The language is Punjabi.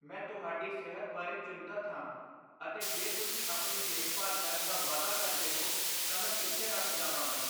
ਮੈਂ ਤੁਹਾਡੀ ਸਿਹਤ ਬਾਰੇ ਚਿੰਤਤ ਹਾਂ ਅਤੇ ਜੇ ਤੁਸੀਂ ਆਪਣੀ ਦੇਖਭਾਲ ਕਰਨ ਦਾ ਵਾਅਦਾ ਕਰਦੇ ਹੋ ਤਾਂ ਮੈਂ ਪਿੱਛੇ ਹਟ ਜਾਵਾਂਗਾ।